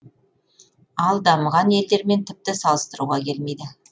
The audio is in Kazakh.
ал дамыған елдермен тіпті салыстыруға келмейді